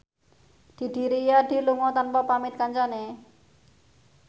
Didi Riyadi lunga tanpa pamit kancane